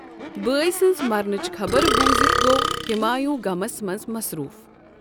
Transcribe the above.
بٲے سنٛز مرنٕچ خبر بوزِتھ گوٚو ہمایوں غمس منٛز مَصروٗف۔